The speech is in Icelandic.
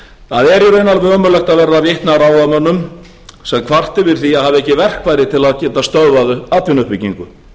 það er í raun alveg ömurlegt að verða vikna að ráðamönnum sem kvarta yfir því að hafa ekki verkfæri til að geta stöðvað atvinnuuppbyggingu